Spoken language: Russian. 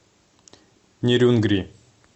нерюнгри